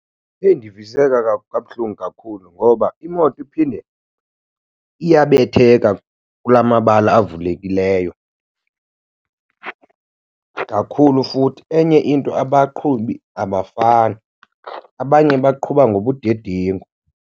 Eyi, ndiviseka kabuhlungu kakhulu ngoba imoto iphinde iyabetheka kulaa mabala avulekileyo kakhulu futhi. Enye into abaqhubi abafani, abanye baqhuba ngobudedengu.